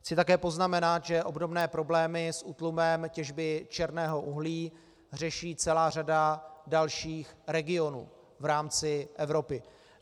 Chci také poznamenat, že obdobné problémy s útlumem těžby černého uhlí řeší celá řada dalších regionů v rámci Evropy.